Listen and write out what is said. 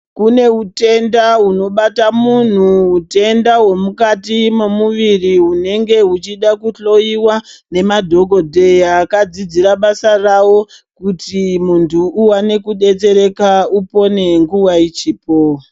Kune utenda hunobata muntu utenda hwemukati memuviri hunenge huchida kuhloyiwa ngemadhokodheya akafundira basa ravo kuti muntu uone kudetsereka upone nguwa ichipo.